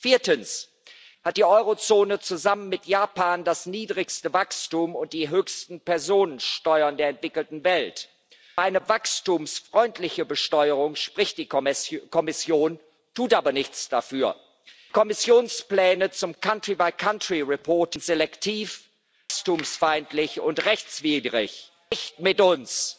Viertens hat die Eurozone zusammen mit Japan das niedrigste Wachstum und die höchsten Personensteuern der entwickelten Welt. Über eine wachstumsfreundliche Besteuerung spricht die Kommission, tut aber nichts dafür. Die Kommissionspläne zur länderbezogenen Berichterstattung sind selektiv, wachstumsfeindlich und rechtswidrig. Nicht mit uns!